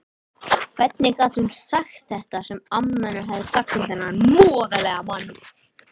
Hvernig gat hún sagt henni þetta sem amma hafði sagt um þennan voðalega mann?